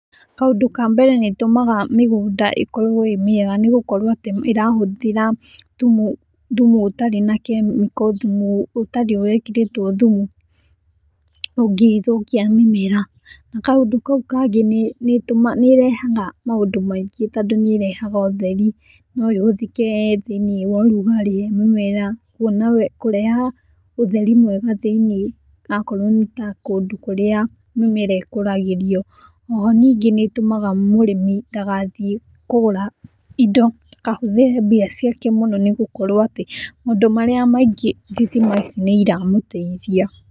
Kaũndũ ka mbere ni ĩtũmaga migũnda ĩkorwo ĩĩ mĩega nĩĩ gukũrwo atĩ ĩrahũthĩra thũmũ thũmũ ũtarĩ na kĩmĩko thumu ũtarĩ wíkĩrĩtwo thũmũ ungĩthũkĩa mĩmera na kaũndũ kaũ kangĩ nĩ ĩtũmaga nĩ ĩrehaga maũndũ maĩngĩ tondũ nĩ ĩrehaga ũtherĩ no ũyũ ũthĩke thíĩnĩ wa ũrũgarĩ mũmera wĩna kũreha ũtheri mwega thíĩni akorwo ni ta kũndũ kũrĩa mĩmera ĩkũragĩrĩo. Oho nĩngĩ ni ĩtũmaga mũrĩmĩ dagathiĩ kũgũra ĩndo dakahũthĩre mbĩa cĩake nĩ gũúkũrwo atĩ maũndũ marĩa maĩngĩ thitima ĩcĩ nĩ ĩra mũteĩthĩa.